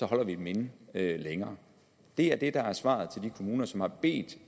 holder vi dem inde længere det er det der er svaret til de kommuner som har bedt